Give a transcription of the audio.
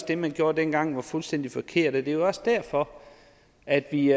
det man gjorde dengang var fuldstændig forkert det er jo også derfor at vi